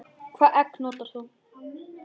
Hvaða egg notar þú?